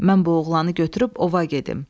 Mən bu oğlanı götürüb ova gedim.